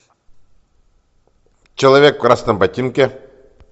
человек в красном ботинке